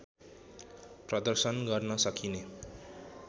प्रदर्शन गर्न सकिने